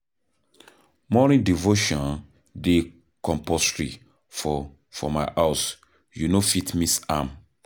Morning devotion dey compusory for for my house, you no fit miss am.